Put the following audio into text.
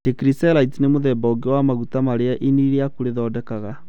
Trigkycerides nĩ mũthemba ũngĩ wa maguta marĩa ini rĩaku rĩthondekaga